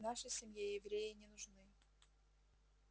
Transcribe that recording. в нашей семье евреи не нужны